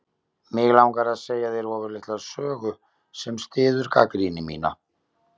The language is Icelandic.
Mig langar að segja þér ofurlitla sögu sem styður gagnrýni mína.